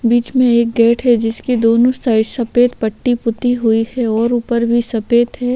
बीच में एक गेट है जिसकी दोनों साइड सफेद पट्टी पुती हुई है और ऊपर भी सफेद है।